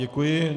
Děkuji.